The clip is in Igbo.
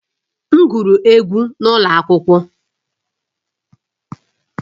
M gụrụ egwú n’ụlọ akwụkwọ